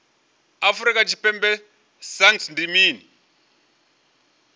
afrika tshipembe sagnc ndi mini